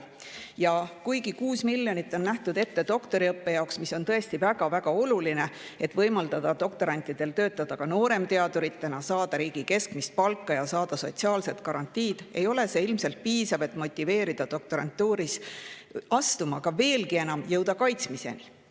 Ja kuigi 6 miljonit on nähtud ette doktoriõppe jaoks, mis on tõesti väga-väga oluline, et võimaldada doktorantidel töötada nooremteaduritena, saada riigi keskmist palka ja sotsiaalsed garantiid, ei ole see ilmselt piisav, et motiveerida doktorantuuri astuma ja jõuda kaitsmiseni.